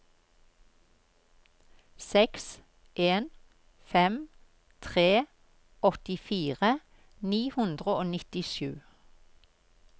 seks en fem tre åttifire ni hundre og nittisju